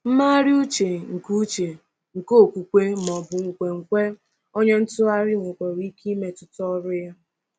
Mmegharị uche nke uche nke okwukwe ma ọ bụ nkwenkwe onye ntụgharị nwekwara ike imetụta ọrụ ya.